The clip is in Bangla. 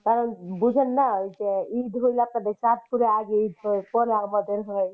কারণ বুঝেন না যে ঈদ হইলে আপনাদের চাঁদপুরে আগে ঈদ হয় পরে আমাদের হয়।